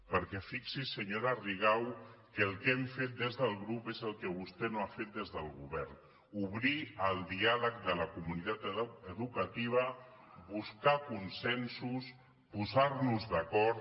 perquè fixi’s senyora rigau que el que hem fet des del grup és el que vostè no ha fet des del govern obrir el diàleg de la comunitat educativa buscar consensos posar nos d’acord